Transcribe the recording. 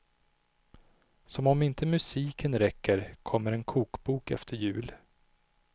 Som om inte musiken räcker kommer en kokbok efter jul.